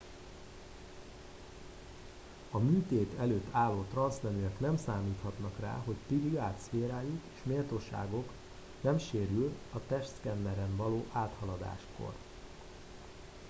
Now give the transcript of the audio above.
a műtét előtt álló transzneműek nem számíthatnak rá hogy privát szférájuk és méltóságuk nem sérül a testszkenneren való áthaladáskor